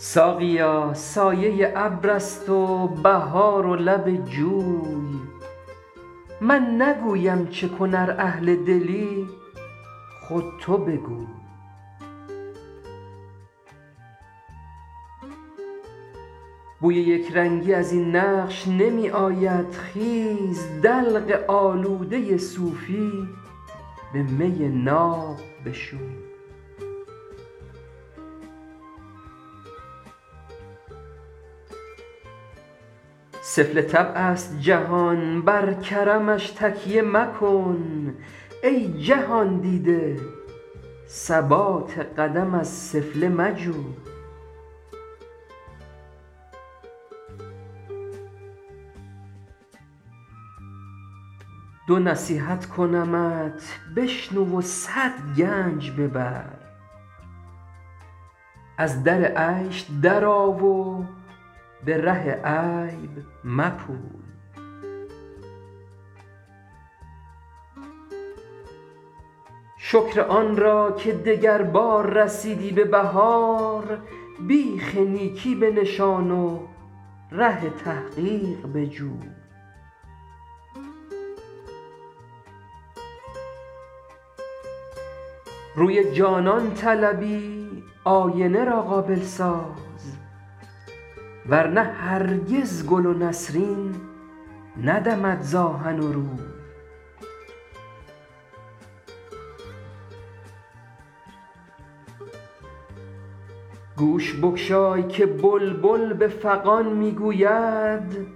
ساقیا سایه ابر است و بهار و لب جوی من نگویم چه کن ار اهل دلی خود تو بگوی بوی یک رنگی از این نقش نمی آید خیز دلق آلوده صوفی به می ناب بشوی سفله طبع است جهان بر کرمش تکیه مکن ای جهان دیده ثبات قدم از سفله مجوی دو نصیحت کنمت بشنو و صد گنج ببر از در عیش درآ و به ره عیب مپوی شکر آن را که دگربار رسیدی به بهار بیخ نیکی بنشان و ره تحقیق بجوی روی جانان طلبی آینه را قابل ساز ور نه هرگز گل و نسرین ندمد ز آهن و روی گوش بگشای که بلبل به فغان می گوید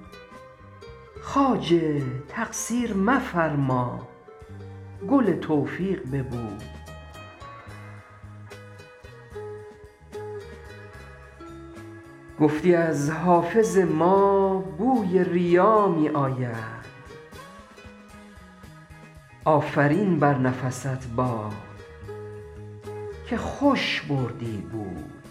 خواجه تقصیر مفرما گل توفیق ببوی گفتی از حافظ ما بوی ریا می آید آفرین بر نفست باد که خوش بردی بوی